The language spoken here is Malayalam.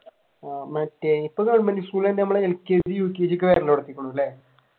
മറ്റേ ഇപ്പൊ ഗവർമെന്റ് സ്കൂൾ തന്നെ lkg, ukg ഒക്കെ അല്ലെ